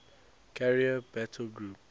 carrier battle group